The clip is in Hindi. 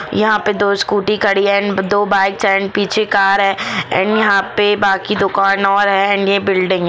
यहां पर तो स्कूटी खड़ी है एंड दो बाइक एंड पीछे कार है एंड यहां पर बाकी दुकान और है इंडिया बिल्डिंग--